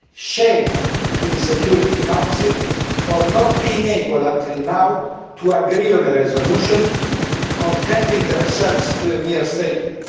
Shame on the Security Council for not being able until now to agree on a resolution, contenting themselves with a mere statement.